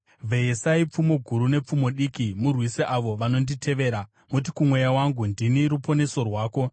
Vheyesai pfumo guru nepfumo diki murwise avo vanonditevera. Muti kumweya wangu, “Ndini ruponeso rwako.”